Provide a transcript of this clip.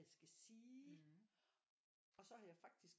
Jeg skal sige og så har jeg faktisk